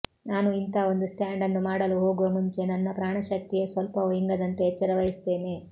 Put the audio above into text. ನಾನು ಇಂಥ ಒಂದು ಸ್ಟಾಂಡನ್ನು ಮಾಡಲು ಹೋಗುವ ಮುಂಚೆ ನನ್ನ ಪ್ರಾಣಶಕ್ತಿ ಸ್ವಲ್ಪವೂ ಇಂಗದಂತೆ ಎಚ್ಚರವಹಿಸುತ್ತೇನೆ